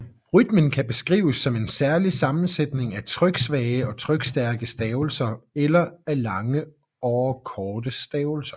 Rytmen kan beskrives som en særlig sammensætning af tryksvage og trykstærke stavelser eller af lange or korte stavelser